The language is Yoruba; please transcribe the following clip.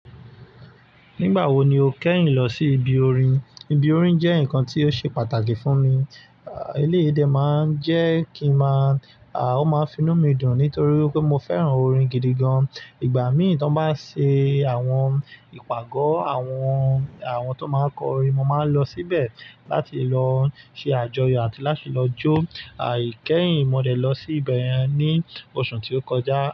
Nígbà wo ni o kẹ́yìn lọ sí ibi orin? Ibi orin jẹ́ ǹkan tí ó ṣe pàtàkì fún mi. Eléyìí dẹ̀ máa ń jẹ́ kí n màá, à ó máa ń finú mi dùn nítorí pé mo fẹ́ràn orin gidi gan. Ìgbà míì tíbwọn bá ṣe àwọn ìpàgọ́ àwọn, àwọn tó máa n kọrin mo máa ń lọ síbẹ̀ láti lọ ṣe àjọyọ̀ àti láti lọ jó. Aìkẹ́hìn mo dẹ̀ lọ sí ibẹ̀ yẹn ní oṣù tí ó kọjá.